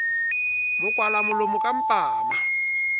mo kwala molomo ka mpama